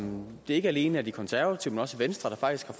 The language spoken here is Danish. det ikke alene er de konservative men også venstre der faktisk